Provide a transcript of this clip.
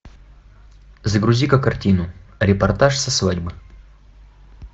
загрузи ка картину репортаж со свадьбы